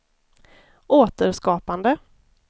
återskapande